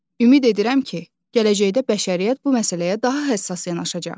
Ümid edirəm ki, gələcəkdə bəşəriyyət bu məsələyə daha həssas yanaşacaq.